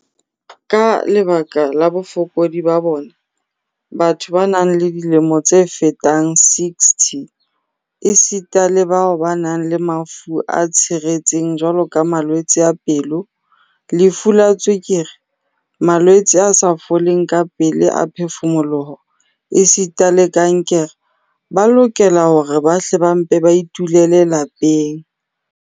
"Ka lebaka la bofokodi ba bona, batho ba nang le dilemo tse fetang 60 esita le bao ba nang le mafu a tshiretseng jwaloka malwetse a pelo, lefu la tswekere, malwetse a sa foleng kapele a phefumoloho esita le kankere, ba lokela hore ba hle ba mpe ba itulele lapeng."